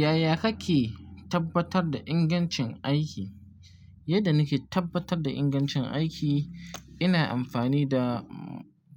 Yaya kake tabbatar da ingancin aiki? Yadda nake tabbatar da ingancin aiki, ina amfani da